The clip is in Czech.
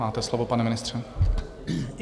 Máte slovo, pane ministře.